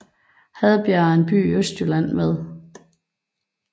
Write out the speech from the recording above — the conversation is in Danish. Hadbjerg er en by i Østjylland med